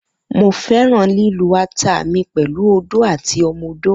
Mo fẹran lilu ata mi pẹlu odó ati ọmọ odó.